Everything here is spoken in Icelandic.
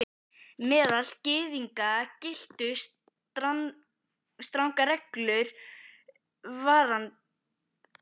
Meðal Gyðinga giltu strangar reglur varðandi hreinlæti og heilsuvernd.